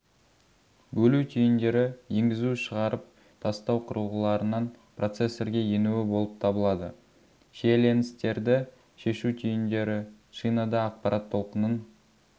бөлу түйіндері енгізушығарып тастау құрылғыларынан процесрге енуі болып табылады шиеленістерді шешу түйіндері шинада ақпарат толқынын